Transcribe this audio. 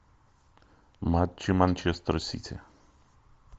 матчи манчестер сити